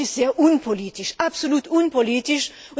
Das ist sehr unpolitisch.